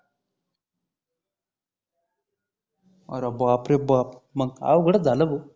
अरे बापरे बाप मंग अवगडच झाल भाऊ